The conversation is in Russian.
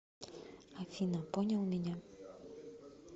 афина понял меня